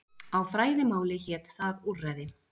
Á fræðimáli hét það úrræði.